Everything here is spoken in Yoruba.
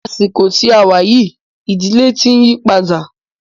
Ní àsìkò tí a wá yìí, ìdílé tí ń yípadà.